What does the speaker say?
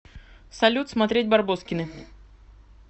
салют смотреть барбоскины